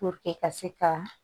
ka se ka